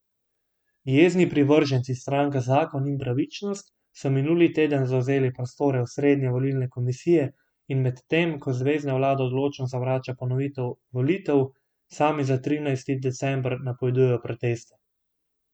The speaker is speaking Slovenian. Jezni privrženci stranka Zakon in pravičnost so minuli teden zavzeli prostore osrednje volilne komisije in medtem ko zvezna vlada odločno zavrača ponovitev volitev, sami za trinajsti december napovedujejo proteste.